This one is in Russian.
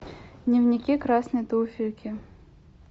дневники красной туфельки